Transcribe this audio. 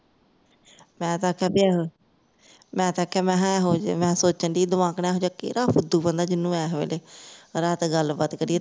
ਮੈਂ ਤੇ ਆਖਿਆ ਬਈ ਆਹ ਮੈਂ ਇਥੇ ਮੈਂ ਤੇ ਆਖਿਆ ਮੈਂ ਐਹੋ ਜਿਹੇ ਮੈਂ ਸੋਚਣ ਡਈ ਦਵਾ ਕੇਡਾਂ ਐਹੋ ਜਿਹਾ ਕਿਹੜਾ ਫੁਦੂ ਬੰਦਾ ਜਿਹਨੂੰ ਐਸ ਵੇਲੇ ਰਾਤ ਗੱਲਬਾਤ ਕਰੀਏ